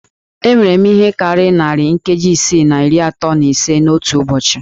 E nwere ihe karịrị narị nkeji isii na iri atọ na ise n'otu ụbọchị